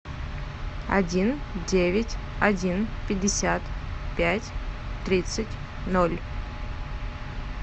один девять один пятьдесят пять тридцать ноль